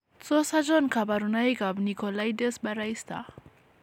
Tos achon kabarunaik ab Nicolaides Baraister ?